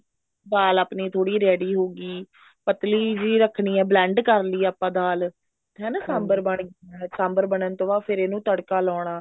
ਦਾਲ ਆਪਣੀ ਥੋੜੀ ਜੀ ready ਹੋਗੀ ਪਤਲੀ ਜੀ ਰੱਖਣੀ ਆ blend ਕਰਲੀ ਆਪਾਂ ਦਾਲ ਹਨਾ ਸਾਂਬਰ ਬਣ ਗਿਆ ਸਾਂਬਰ ਬਣਨ ਤੋਂ ਬਾਅਦ ਇਹਨੂੰ ਤੜਕਾ ਲਾਉਣਾ